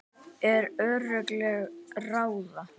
En örlög ráða.